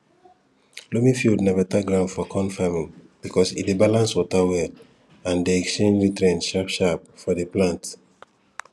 loamy field na better ground for corn farming because e dey balance water well and dey exchange nutrient sharpsharp for the plant